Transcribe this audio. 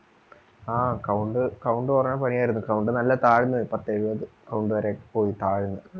ആ count count കുറഞ്ഞ പനി ആയിരുന്നു count നല്ല താഴ്ന്നു പത്തു എഴുപത് count വരെ ഒക്കെ പോയി താഴ്ന്നു